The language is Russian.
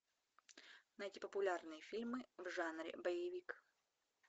найди популярные фильмы в жанре боевик